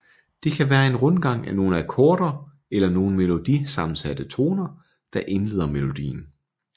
Det kan være en rundgang af nogle akkorder eller nogle melodi sammensatte toner der indleder melodien